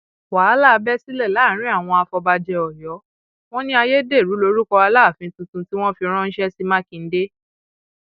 wàhálà bẹ sílẹ láàrin àwọn afọbajẹ ọyọ wọn ní ayédèrú lórúkọ aláàfin tuntun tí wọn fi ránṣẹ sí mákindé